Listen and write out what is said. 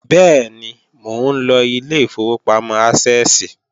Bẹ́ẹ̀ni, mò ńlọ ilé ìfowópamọ́ Ásẹ́ẹ̀sì